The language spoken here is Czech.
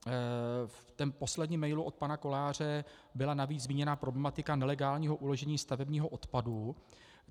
V posledním mailu od pana Koláře byla navíc zmíněna problematika nelegálního uložení stavebního odpadu.